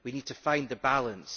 We need to find the balance.